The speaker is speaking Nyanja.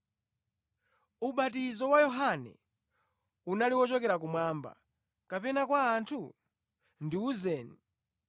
Ubatizo wa Yohane, unali wochokera kumwamba, kapena kwa anthu? Ndiwuzeni.”